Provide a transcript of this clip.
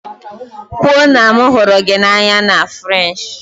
Kwuo na m hụrụ gị n'anya na Frenshi!